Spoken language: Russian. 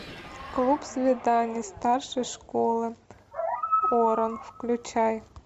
клуб свиданий старшей школы оран включай